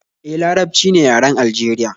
E, Larabci ne yaren Aljeriya